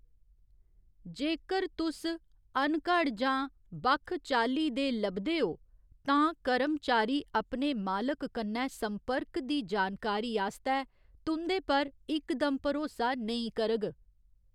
जेकर तुस अनघड़ जां बक्ख चाल्ली दे लभदे ओ तां कर्मचारी अपने मालक कन्नै संपर्क दी जानकारी आस्तै तुं'दे पर इकदम भरोसा नेईं करग।